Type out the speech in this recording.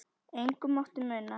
Engu mátti muna.